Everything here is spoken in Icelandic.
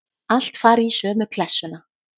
Allt fari í sömu klessuna.